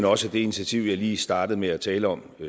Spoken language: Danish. også at det initiativ jeg lige startede med at tale om